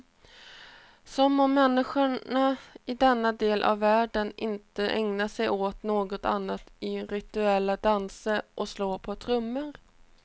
Som om människorna i denna del av världen inte ägnar sig åt något annat än rituella danser och slå på trummor.